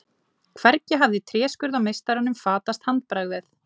Hvergi hafði tréskurðarmeistaranum fatast handbragðið.